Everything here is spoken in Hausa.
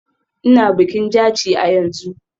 Ina bikin Jaci a yanzu.